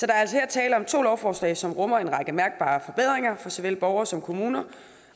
er altså her tale om to lovforslag som rummer en række mærkbare forbedringer for såvel borgere som kommuner